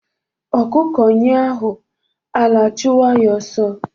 Ọkụkọ nyụọ ahụ, ala achụwa ya oso.